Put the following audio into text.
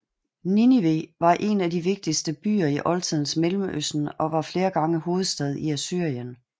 Ninive var en af de vigtigste byer i oldtidens Mellemøsten og var flere gange hovedstad i Assyrien